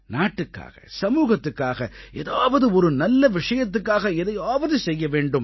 நாட்டுக்காக சமூகத்துக்காக ஏதாவது ஒரு நல்ல விஷயத்துக்காக எதையாவது செய்ய வேண்டும்